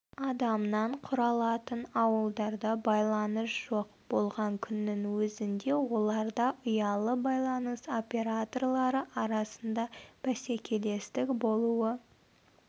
адамнан құралатын ауылдарда байланыс жоқ болған күннің өзінде оларда ұялы байланыс операторлары арасында бәсекелестік болуы